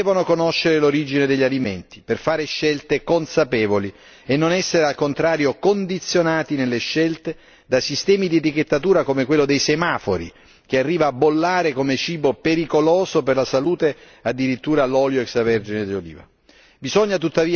I consumatori devono conoscere l'origine degli alimenti per fare scelte consapevoli e non essere al contrario condizionati nelle scelte da sistemi di etichettatura come quello dei semafori che arriva a bollare come cibo pericoloso per la salute addirittura l'olio extra vergine di oliva.